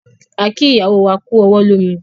A kí ìyàwó wá kú ọwọ́ lómi